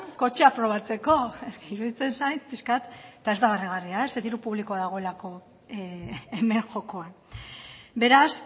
kotxeak probatzeko iruditzen zait pixka bat eta ez dela barregarria diru publikoa dagoelako hemen jokoan beraz